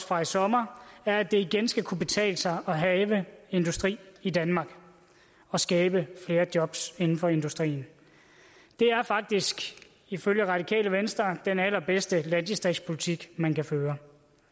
fra i sommer er at det igen skal kunne betale sig at have industri i danmark og skabe flere job inden for industrien det er faktisk ifølge radikale venstre den allerbedste landdistriktspolitik man kan føre